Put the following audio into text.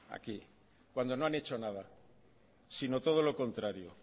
aquí cuando no han hecho nada sino todo lo contrario o